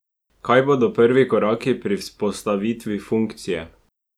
Kaj bodo prvi koraki pri vzpostavitvi funkcije?